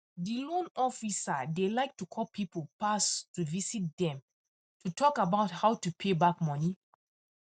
the loan officer dey like to call people pass to visit them to talk about how to pay back money